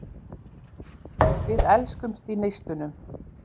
Við elskumst í neistunum.